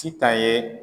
Sitan ye